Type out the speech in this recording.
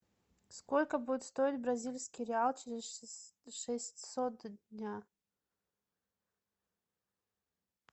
сколько будет стоить бразильский реал через шестьсот дня